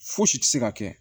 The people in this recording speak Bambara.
Fosi tɛ se ka kɛ